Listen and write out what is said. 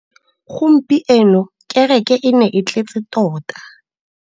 Gompieno kêrêkê e ne e tletse tota.